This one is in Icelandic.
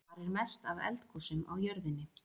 Hvar er mest af eldgosum á jörðinni?